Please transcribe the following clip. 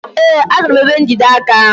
Ee, achọrọ m ebe njide aka ahụ.